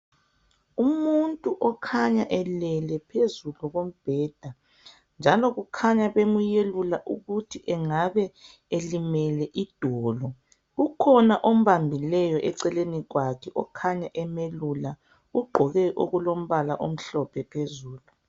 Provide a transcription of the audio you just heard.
Umuntu okhanya elele phezulu kombheda, njalo kukhanya bemuyelula. Okungathi angabe elimele idolo. Ukhona ombambileyo eceleni kwakhe, okhanya emiyelula. Ugqoke okulombala omhlophe phezulu.